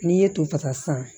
N'i ye to ta sisan